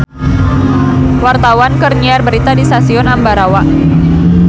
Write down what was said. Wartawan keur nyiar berita di Stasiun Ambarawa